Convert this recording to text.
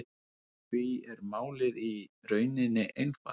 Því er málið í rauninni einfalt